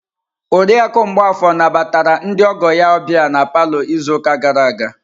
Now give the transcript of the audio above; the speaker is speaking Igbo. Oriakụ Mgbafor nabatara ndị ọgọ ya ọbịa na palọ izu ụka gara aga.